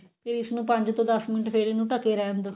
ਤੇ ਇਸ ਨੂੰ ਪੰਜ ਤੋਂ ਦਸ ਮਿੰਟ ਫਿਰ ਇਹਨੂੰ ਢਕੇ ਰਿਹਣ ਦੋ